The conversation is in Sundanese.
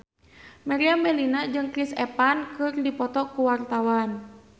Meriam Bellina jeung Chris Evans keur dipoto ku wartawan